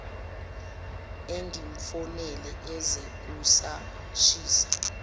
angimfonele eze kusashisa